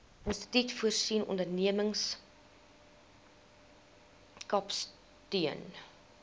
instituut voorsien ondernemerskapsteun